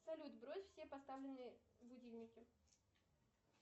салют сбрось все поставленные будильники